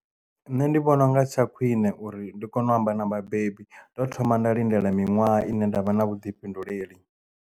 Nṋe ndi vhona unga tsha khwine uri ndi kone u amba na vhabebi ndi teo thoma nda lindela miṅwaha ine nda vha na vhuḓifhinduleli.